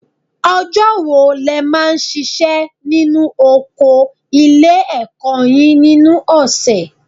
Ọjọ́ wo lẹ máa ń ṣiṣẹ́ nínú oko ilé-ẹ̀kọ́ yín nínú ọ̀sẹ̀?